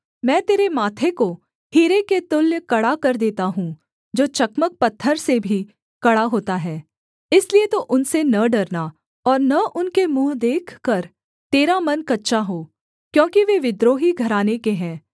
मैं तेरे माथे को हीरे के तुल्य कड़ा कर देता हूँ जो चकमक पत्थर से भी कड़ा होता है इसलिए तू उनसे न डरना और न उनके मुँह देखकर तेरा मन कच्चा हो क्योंकि वे विद्रोही घराने के हैं